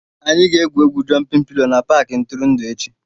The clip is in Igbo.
Anyị ga-egwu egwu "jụmpịn pilo" na Paakị ntụrụndụ echi